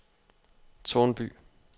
Tårnby